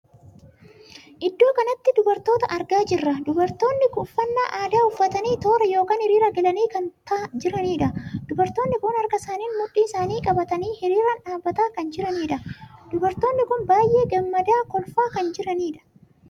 Iddoo kanatti dubartoota argaa jirra. dubartonni uffannaa aadaa uffatanii toora ykn hiriiraan galanii kan jiranidha. dubartonni kun harka isaaniin mudhiin isaanii qabatanii hiriiraan dhaabbataa kan jiraniidha. dubartonni kun baay'ee gammadaa kolfaa kan jiranidha.